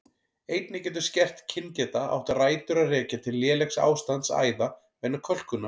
Einnig getur skert kyngeta átt rætur að rekja til lélegs ástands æða vegna kölkunar.